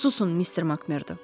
Susun, mister Makmerdo.